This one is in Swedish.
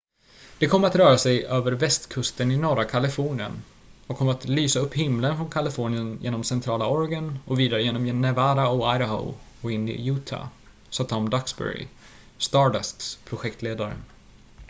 """det kommer att röra sig över västkusten i norra kalifornien och kommer att lysa upp himlen från kalifornien genom centrala oregon och vidare genom nevada och idaho och in i utah," sa tom duxbury stardusts projektledare.